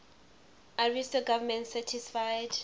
ariosto's government satisfied